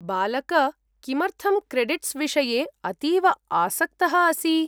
बालक, किमर्थं क्रेडिट्स् विषये अतीव आसक्तः असि?